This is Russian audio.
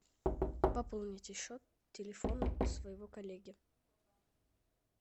пополните счет телефона своего коллеги